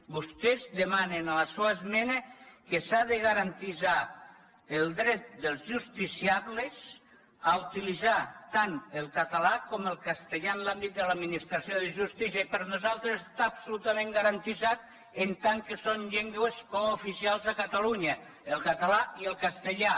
vostès demanen en la seua esmena que s’ha de garantir el dret dels justiciables a utilitzar tant el català com el castellà en l’àmbit de l’administració de justícia i per nosaltres està absolutament garantit en tant que són llengües cooficials a catalunya el català i el castellà